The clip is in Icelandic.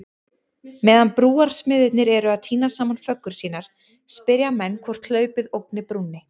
Meðan brúarsmiðirnir eru að týna saman föggur sínar, spyrja menn hvort hlaupið ógni brúnni?